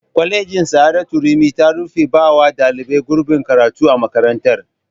Kwalejin sa'adatu rimi ta rufe bawa ɗalibai gurbin karatu a makarantar